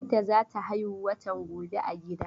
Binta za ta haihu watan gobe a gida.